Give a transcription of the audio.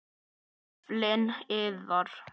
Naflinn iðar.